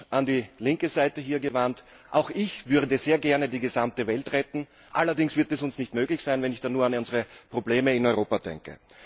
An die linke Seite hier gewandt Auch ich würde sehr gerne die gesamte Welt retten, allerdings wird es uns nicht möglich sein, wenn ich da nur an unsere Probleme hier in Europa denke.